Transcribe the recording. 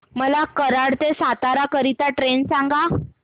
मला कराड ते सातारा करीता ट्रेन सांगा